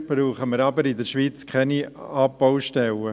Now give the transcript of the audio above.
Dafür brauchen wir aber in der Schweiz keine Abbaustellen.